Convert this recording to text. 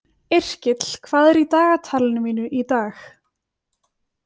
Yrkill, hvað er í dagatalinu mínu í dag?